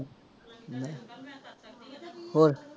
ਹੋਰ।